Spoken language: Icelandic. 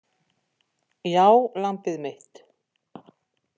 Já, lambið mitt.